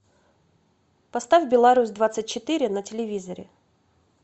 поставь беларусь двадцать четыре на телевизоре